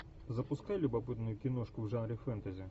запускай любопытную киношку в жанре фэнтези